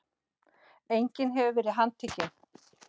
Enginn hefur verið handtekinn